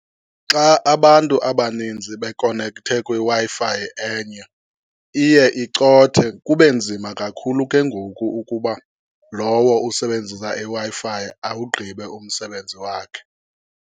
Xa abantu abaninzi bekonekthe kwiWi-Fi enye, iye icothe kube nzima kakhulu ke ngoku ukuba lowo usebenzisa iWi-Fi awugqibe umsebenzi wakhe.